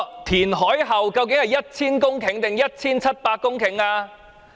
填海面積究竟是 1,000 公頃還是 1,700 公頃？